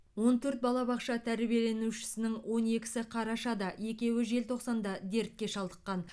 он төрт балабақша тәрбиеленушісінің он екісі қарашада екеуі желтоқсанда дертке шалдыққан